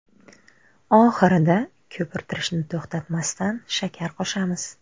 Oxirida, ko‘pirtirishni to‘xtatmasdan, shakar qo‘shamiz.